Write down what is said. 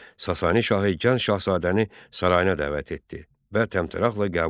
Sasani şahı gənc şahzadəni sarayına dəvət etdi və təmtəraqlı qəbul etdi.